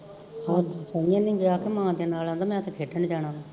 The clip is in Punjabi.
ਮਾਂ ਦੇ ਨਾਲ਼ ਕਹਿਦਾ ਮੈ ਤੇ ਖੇਡਣ ਜਾਣਾ ਵਾ